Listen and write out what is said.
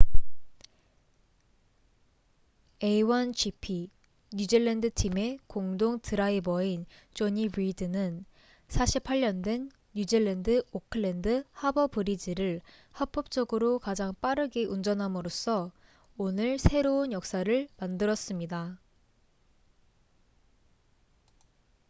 a1gp 뉴질랜드 팀의 공동 드라이버인 jonny reid는 48년 된 뉴질랜드 오클랜드 하버 브리지를 합법적으로 가장 빠르게 운전함으로써 오늘 새로운 역사를 만들었습니다